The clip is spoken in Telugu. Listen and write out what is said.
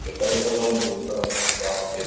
ఏక్డ ఏకాడనుంచో ఎక్కడో వచ్చి జాబ్ చేస్తు--